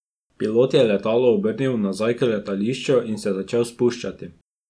Pilot je letalo obrnil nazaj k letališču in se začel spuščati.